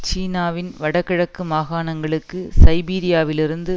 சீனாவின் வட கிழக்கு மாகாணங்களுக்கு சைபீரியாவிலிருந்து